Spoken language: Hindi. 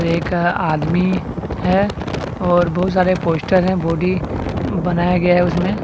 एक आदमी है और बहुत सारे पोस्टर है बॉडी बनाया गया है उसमें।